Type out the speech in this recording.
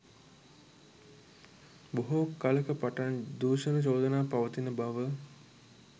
බොහෝ කලක පටන් දූෂණ චෝදනා පවතින බව